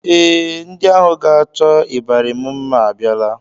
Ee, ndị ahụ ga-achọ ịbarị m mma abịala